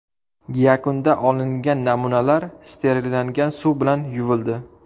Yakunda olingan namunalar sterillangan suv bilan yuvildi.